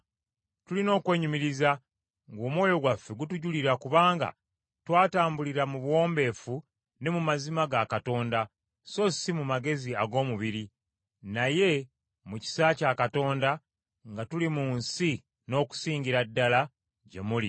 Tulina okwenyumiriza ng’omwoyo gwaffe gutujulira kubanga twatambulira mu buwombeefu ne mu mazima ga Katonda, so si mu magezi ag’omubiri, naye mu kisa kya Katonda nga tuli mu nsi n’okusingira ddala gye muli.